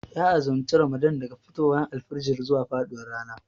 Ya azumci ramadan daga fitowar alfijir zuwa faduwar rana